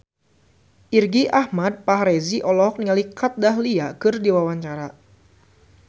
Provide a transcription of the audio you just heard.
Irgi Ahmad Fahrezi olohok ningali Kat Dahlia keur diwawancara